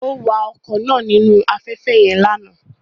Ó wa ọkọ̀ náà nínú afẹ́fẹ́ yẹn lánàá